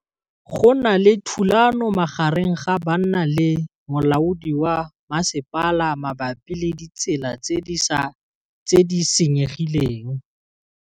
Go na le thulanô magareng ga banna le molaodi wa masepala mabapi le ditsela tse di senyegileng.